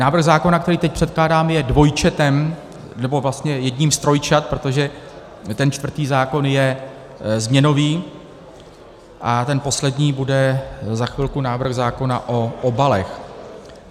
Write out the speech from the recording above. Návrh zákona, který teď předkládám, je dvojčetem, nebo vlastně jedním z trojčat, protože ten čtvrtý zákon je změnový a ten poslední bude za chvilku návrh zákona o obalech.